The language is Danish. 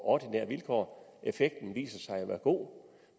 ordinære vilkår effekten viser sig at være god